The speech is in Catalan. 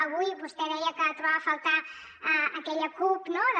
avui vostè deia que trobava a faltar aquella cup no de